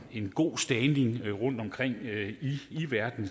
en god standing rundtomkring i verden